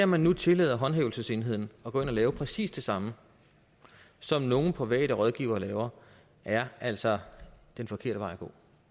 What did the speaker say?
man nu tillader håndhævelsesenheden at gå ind og lave præcis det samme som nogle private rådgivere laver er altså den forkerte vej at gå